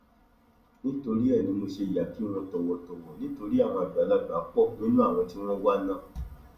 nítorí ẹ ní mo ṣe yáa kí wọn tọwọtọwọ nítorí àwọn àgbàlagbà pọ nínú àwọn tí wọn wà náà